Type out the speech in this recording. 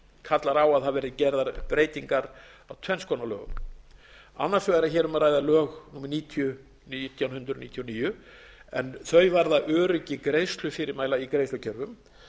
kallar á að það verði gerðar breytingar á eins konar lögum annars vegar er hér um að ræða lög númer níutíu nítján hundruð níutíu og níu en þau varða öryggi greiðslufyrirmæla í greiðslukerfum